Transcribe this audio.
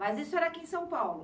Mas isso era aqui em São Paulo?